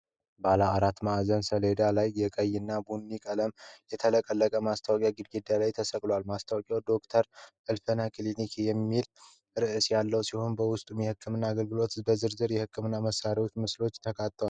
በባለ አራት ማዕዘን ሰሌዳ ላይ የቀይ እና ቡናማ ቀለሞች የተቀላቀሉበት ማስታወቂያ ግድግዳ ላይ ተሰቅሏል። ማስታወቂያው "ዶ/ር እልፍኝ ክሊኒክ" የሚል ርዕስ ያለው ሲሆን፣ በውስጡም የህክምና አገልግሎቶች ዝርዝርና የህክምና መሣሪያዎች ምስሎች ተካተዋል።